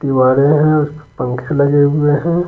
वारे हैं उस पंखे लगे हुए हैं।